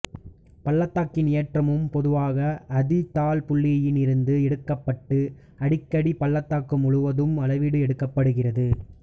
பள்ளத்தாக்கின் ஏற்றமும் பொதுவாக அதி தாழ் புள்ளியில் இருந்து எடுக்கப்பட்டு அடிக்கடி பள்ளத்தாக்கு முழுவதும் அளவீடு எடுக்கப்படுகிறது